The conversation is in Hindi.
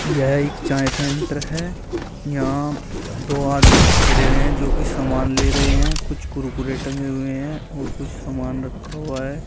यह एक चाय सेंटर है यहां दो आदमी खड़े हुए हैं जो की समान ले रहे हैं कुछ कुरकुरे टंगे हुए हैं और कुछ समान रखा हुआ है।